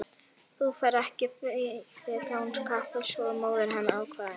Þú ferð ekki fet án kápu sagði móðir hennar ákveðin.